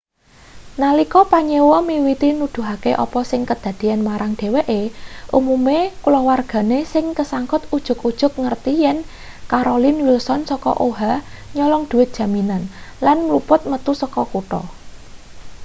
nalika panyewa miwiti nuduhake apa sing kedadeyan marang dheweke umume kulawargane sing kesangkut ujug-ujug ngerti yen carolyn wilson saka oha nyolong dhuwit jaminan lan mlumpat metu saka kutha